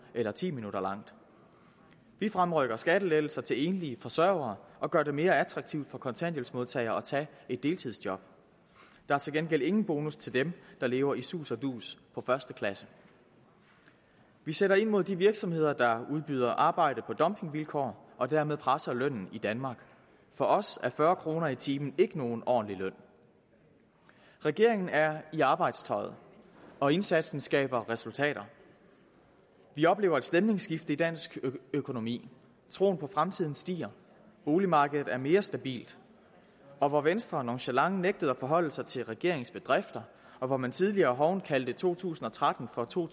eller ti minutter langt vi fremrykker skattelettelser til enlige forsørgere og gør det mere attraktivt for kontanthjælpsmodtagere at tage et deltidsjob der er til gengæld ingen bonus til dem der lever i sus og dus på første klasse vi sætter ind mod de virksomheder der udbyder arbejde på dumpingvilkår og dermed presser lønnen i danmark for os er fyrre kroner i timen ikke nogen ordentlig løn regeringen er i arbejdstøjet og indsatsen skaber resultater vi oplever et stemningsskifte i dansk økonomi troen på fremtiden stiger boligmarkedet er mere stabilt og hvor venstre nonchalant nægtede at forholde sig til regeringens bedrifter og hvor man tidligere hovent kaldte to tusind og tretten for to